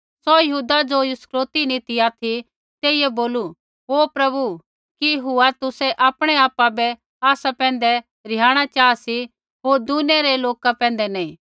सौ यहूदा ज़ो इस्करियोती नी ती ऑथि तेइयै बोलू ओ प्रभु कि हुआ तुसै आपणै आपा बै आसा पैंधै रिहाणा चाहा सी होर दुनिया रै लोका पैंधै नैंई